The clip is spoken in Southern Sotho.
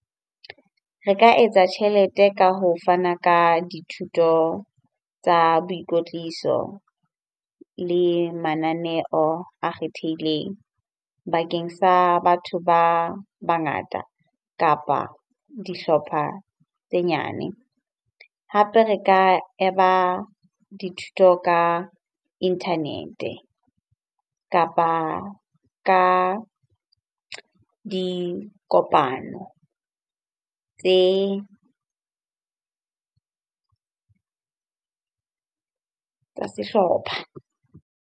Re ka etsa tjhelete ka ho fana ka dithuto tsa boikotliso le mananeo a kgethehileng bakeng sa batho ba bangata kapa dihlopha tse nyane. Hape re ka dithuto ka internet-e kapa ka dikopano tse tsa sehlopha.